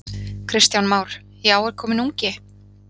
Kristján Már: Já, er kominn ungi?